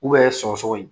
sɔgɔsɔgɔ ye